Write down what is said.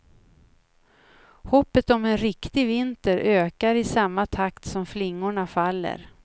Hoppet om en riktig vinter ökar i samma takt som flingorna faller.